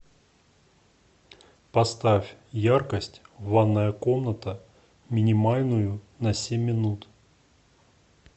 поставь яркость ванная комната минимальную на семь минут